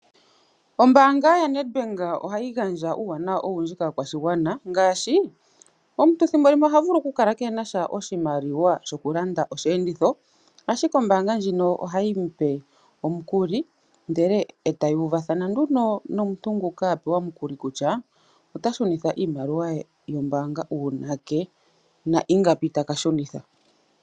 Ombaanga ya Nedbank ohayi gandja omawuwanawa ogendji kaakwashigwana ngaashi, omuntu ethimbolimwe ohavulu oku kala keenasha oshimaliwa shoku landa oshi enditho ashike ombaanga ndjino ohayi mupe omukuli ,etayi uvathana nduno nomuntu nguka apewa omukuli kutya otashunitha iimaliwa ye yombaanga uunake na ingapi taka shunitha.